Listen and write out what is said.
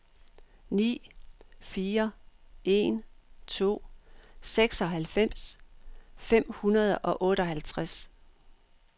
ni fire en to seksoghalvfems fem hundrede og otteoghalvtreds